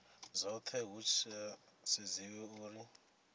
dzothe hu sa sedziwi uri